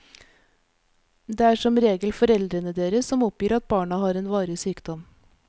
Det er som regel foreldrene deres som oppgir at barna har en varig sykdom.